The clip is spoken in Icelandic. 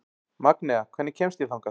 Magnea, hvernig kemst ég þangað?